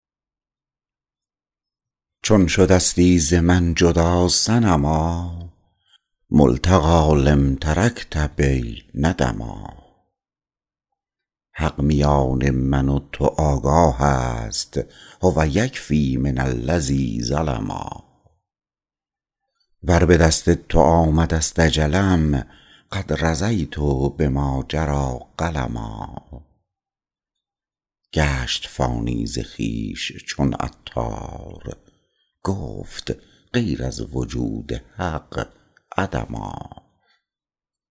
چون شدستی ز من جدا صنما ملتقی لم ترکت بی ندما حق میان من و تو آگاه است هو یکفی من الذی ظلما ور به دست تو آمده است اجلم قد رضیت بما جری قلما گشت فانی ز خویش چون عطار گفت غیر از وجود حق عدما